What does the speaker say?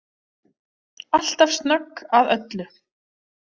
Alltaf snögg að öllu.